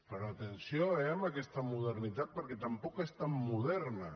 però atenció eh amb aquesta modernitat perquè tampoc és tan moderna